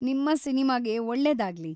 ನಿಮ್ಮ ಸಿನಿಮಾಗೆ ಒಳ್ಳೆದಾಗ್ಲಿ!